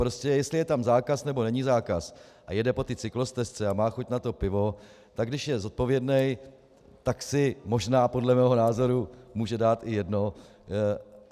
Prostě jestli je tam zákaz nebo není zákaz a jede po té cyklostezce a má chuť na to pivo, tak když je zodpovědný, tak si možná, podle mého názoru, může dát i jedno.